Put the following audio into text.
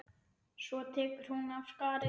Svo tekur hún af skarið.